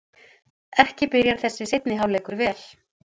Ekki byrjar þessi seinni hálfleikur vel!